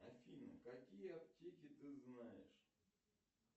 афина какие аптеки ты знаешь